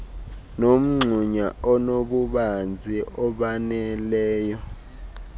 nomgxunya onobubanzi obaneleyo